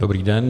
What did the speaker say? Dobrý den.